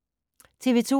TV 2